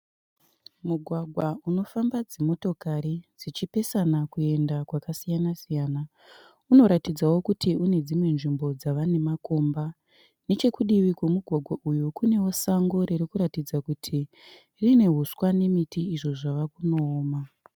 Mugwagwa unofamba dzimotokari dzichipesana kuenda kwakasiyana siyana. Unoratidzawo kuti une dzimwe dzvimbo dzava nemakomba nechekudivi kwemugwgwa uyu kunewo sango rinoratidza kuti rine huswa nemiti zvava kundooma.